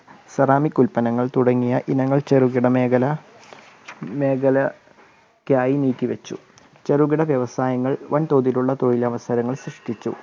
ceramic ഉല്പന്നങ്ങൾ തുടങ്ങിയ ഇനങ്ങൾ ചെറുകിട മേഖലക്കായി നീക്കിവെച്ചു. ചെറുകിട വ്യവസകള്‍ വൻതോതിലുള്ള തൊഴിൽ അവസരങ്ങൾ സൃഷ്ടിച്ചു.